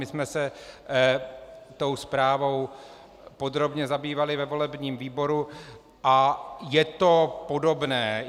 My jsme se tou zprávou podrobně zabývali ve volebním výboru a je to podobné.